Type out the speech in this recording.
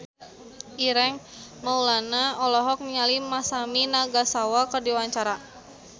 Ireng Maulana olohok ningali Masami Nagasawa keur diwawancara